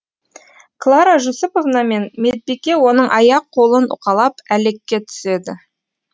клара жүсіповна мен медбике оның аяқ қолын уқалап әлекке түседі